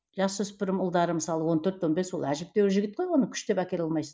жасөспірім ұлдары мысалы он төрт он бес ол әжептеуір жігіт қой оны күштеп әкеле алмайсың